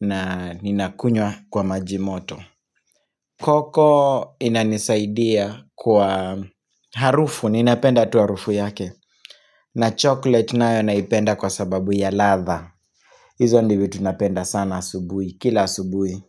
na ninakunywa kwa maji moto Cocoa inanisaidia kwa harufu, ninapenda tu harufu yake na chocolate nayo naipenda kwa sababu ya ladha hizo ndio vitu napenda sana asubuhi, kila asubuhi.